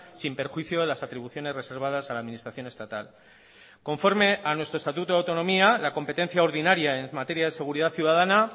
sin perjuicio de las atribuciones reservadas a la administración estatal conforme a nuestro estatuto de autonomía la competencia ordinaria en la materia de seguridad ciudadana